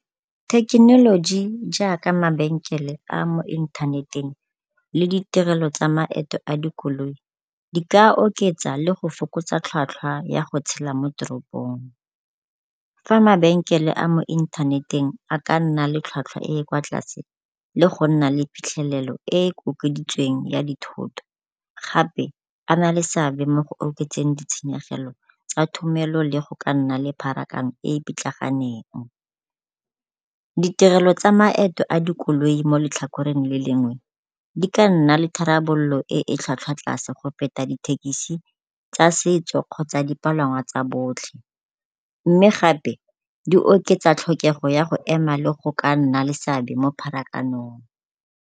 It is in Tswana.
Thekenoloji jaaka mabenkele a a mo inthaneteng le di tirelo tsa maeto a dikoloi, di ka oketsa le go fokotsa tlhwatlhwa ya go tshela mo toropong. Fa mabenkele a mo inthaneteng a ka nna le tlhwatlhwa e e kwa tlase le go nna le phitlhelelo e e ya dithoto, gape a na le seabe mo go oketseng ditshenyegelo tsa thomelo le go nna le pharakano e e pitlaganeng. Ditirelo tsa maeto a dikoloi mo letlhakoreng le lengwe di ka nna le tharabololo e e tlhwatlhwa tlase go feta dithekisi tsa setso kgotsa dipalangwa tsa botlhe, mme gape di oketsa tlhokego ya go ema le go ka nna le seabe mo pharakanong.